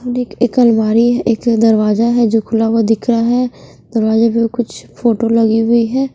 एक अलमारी है एक दरवाजा है जो खुला हुआ दिख रहा है दरवाजे पर कुछ फोटो लगी हुई है।